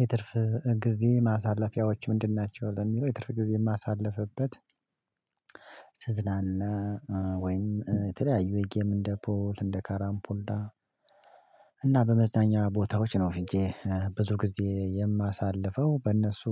የትርፍ ጊዜ ማሳለፊያዎች ምንድን ናቸው? ለሚለው የትርፍ ጊዜ የማሳልፍበት ትዝናና ወይም የተለያዩ የጌም እንደ ፑል እንደ ካራምፑላ እና በመዝናኛ ቦታዎች ነው ሄጄ ብዙ ጊዜ የማሳልፈው በእነሱ